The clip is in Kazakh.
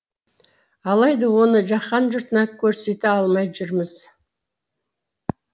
алайда оны жаһан жұртына көрсете алмай жүрміз